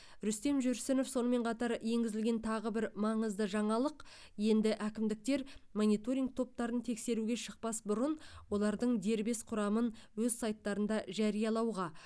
рүстем жүрсінов сонымен қатар енгізілген тағы бір маңызды жаңалық енді әкімдіктер мониторинг топтарын тексеруге шықпас бұрын олардың дербес құрамын өз сайттарында жариялауға